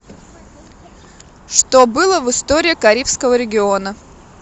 что было в история карибского региона